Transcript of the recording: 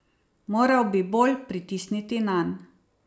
Moral bi bolj pritisniti nanj.